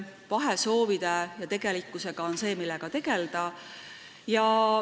Soovide ja tegelikkuse vahe on see, millega tuleb tegelda.